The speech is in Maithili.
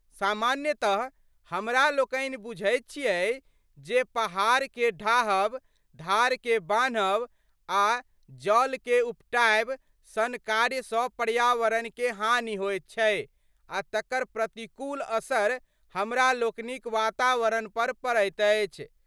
सामान्यतः हमरा लोकनि बुझैत छिऐ जे पहाड़के ढाहब, धारके बान्हब आ जडलके उपटाएब सन कार्यसँ पर्यावरणकें हानि होइत छै आ तकर प्रतिकूल असर हमरा लोकनिक वातावरणपर पड़ैत अछि।